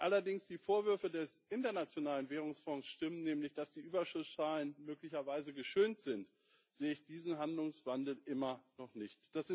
Wenn allerdings die Vorwürfe des Internationalen Währungsfonds stimmen, nämlich dass die Überschusszahlen möglicherweise geschönt sind, sehe ich diesen Handlungswandel immer noch nicht.